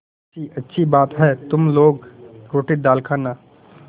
मुंशीअच्छी बात है तुम लोग रोटीदाल खाना